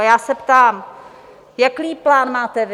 A já se ptám, jaký plán máte vy?